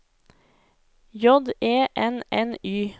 J E N N Y